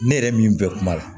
Ne yɛrɛ min bɛ kuma la